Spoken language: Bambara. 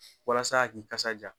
Walasa a k'i kasa ja.